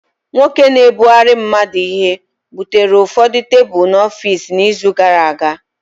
Nwoke na-ebugara mmadu Ihe butere ụfọdụ tebụl n'ọfịs n'izu gara aga